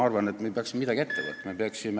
Palun lisaaega kolm minutit!